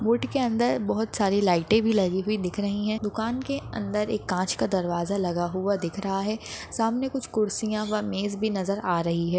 Would के अंदर बहुत सारी लाइट भी लगे हुई दिख रही है दुकान के अंदर एक कांच का दरवाजा लगा हुआ दिख रहा है सामने कुछ कुर्सिया वा मेज नजर आ रही है।